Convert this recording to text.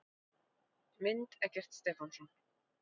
Mynd: Eggert Stefánsson.